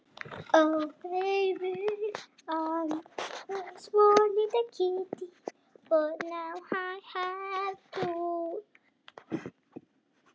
Þau gerjast auðveldlega í lofttegundir og lífeðlisfræðilega virkar aukaafurðir í ristlinum.